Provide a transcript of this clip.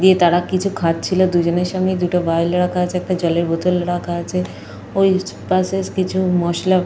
দিয়ে তারা কিছু খাচ্ছিলো। দুজনের সামনে দুটো ভাইল রাখা আছে একটা জলের বোতল রাখা আছে। ওই পাশে কিছু মশলা --